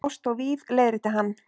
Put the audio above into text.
Ást og víf- leiðrétti hann.